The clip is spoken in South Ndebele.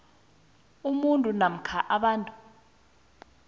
umuntu namkha abantu